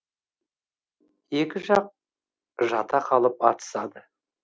екі жақ жата қалып атысады